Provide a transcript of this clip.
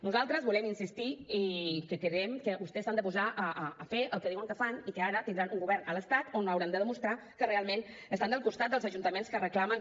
nosaltres volem insistir i creiem que vostès s’han de posar a fer el que diuen que fan i que ara tindran un govern a l’estat on hauran de demostrar que realment estan al costat dels ajuntaments que reclamen